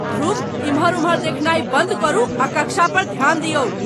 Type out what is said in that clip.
ध्रुव, एम्हर उम्हर देखनाय बन्द करू आ कक्षा पर ध्यान दियौक!